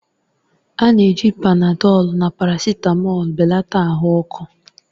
A na-eji Panadọlu na parasitamọlu belata ahụ ọkụ.